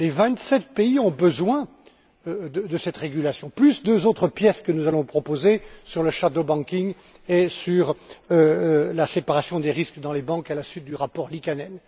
Les vingt sept pays ont besoin de cette régulation, ainsi que de deux autres pièces que nous allons proposer sur le système bancaire parallèle et sur la séparation des risques dans les banques, à la suite du rapport Liikanen.